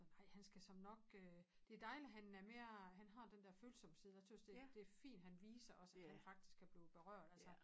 Ej han skal såmen nok øh det dejligt han er mere han har den dér følsomme side jeg tøs det det fint han viser os at han faktisk kan blive berørt altså